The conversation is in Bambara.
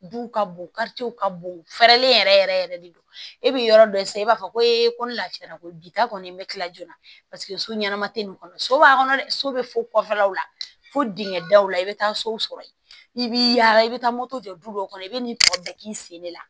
Duw ka bon ka bon fɛɛrɛlen yɛrɛ yɛrɛ yɛrɛ de don e bɛ yɔrɔ dɔ e sara i b'a fɔ ko e ko lafiyara ko bi ta kɔni be kila joona paseke so ɲɛnama te nin kɔnɔ so b'a kɔnɔ dɛ so be fo kɔfɛ fo dingɛ daw la i be taa so sɔrɔ yen i b'i yaala i bɛ taa moto jɔ du dɔw kɔnɔ i bɛ nin tɔ bɛɛ k'i sen de la